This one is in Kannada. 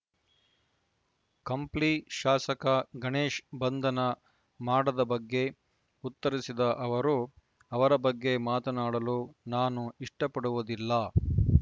ಕಂಪ್ಲಿ ಶಾಸಕ ಗಣೇಶ್‌ ಬಂಧನ ಮಾಡದ ಬಗ್ಗೆ ಉತ್ತರಿಸಿದ ಅವರು ಅವರ ಬಗ್ಗೆ ಮಾತನಾಡಲು ನಾನು ಇಷ್ಟಪಡುವುದಿಲ್ಲ